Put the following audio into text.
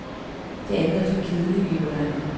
Det andet er for kedeligt, hævder han.